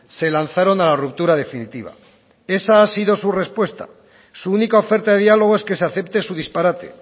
se lanzaron a la ruptura definitiva esa ha sido su respuesta su única oferta de diálogo es que se acepte su disparate